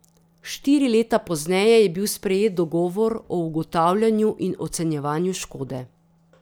Štiri leta pozneje je bil sprejet dogovor o ugotavljanju in ocenjevanju škode.